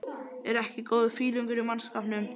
ER EKKI GÓÐUR FÍLINGUR Í MANNSKAPNUM?